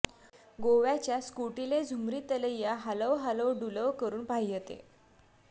गोव्याच्या स्कुटीले झुमरी तलीय्या हालव हालव डुलव करून पाह्यते